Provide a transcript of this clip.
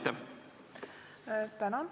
Tänan!